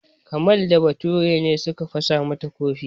Kamal da Bature ne suka fasa mata kofi.